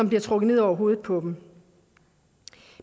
bliver trukket ned over hovedet på dem